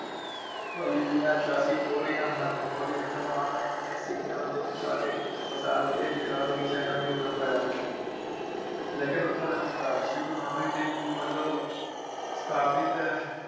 ਲੰਗਰ ਪ੍ਰਥਾ ਦਾ ਵਿਸ਼ਥਾਰ ਸ਼੍ਰੀ ਗੁਰੂ ਨਾਨਕ ਦੇਵ ਜੀ ਵਲੋਂ ਕਾਫੀ ਤ੍ਰਾਹ